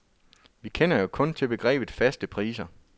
Vi kender jo kun til begrebet faste priser.